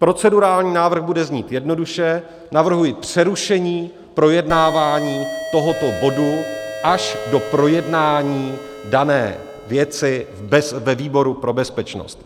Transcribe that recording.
Procedurální návrh bude znít jednoduše, navrhuji přerušení projednání tohoto bodu až do projednání dané věci ve výboru pro bezpečnost.